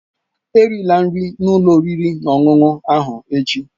Erila nri n'ụlọ oriri na ọṅụṅụ ahụ echi!